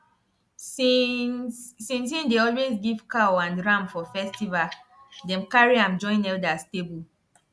since since he dey always give cow and ram for festival dem carry am join elders table